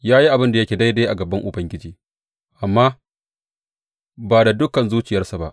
Ya yi abin da yake daidai a gaban Ubangiji, amma ba da dukan zuciyarsa ba.